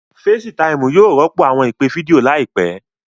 Fecitiimu yóò rọpo awọn ipe fidio laipẹ.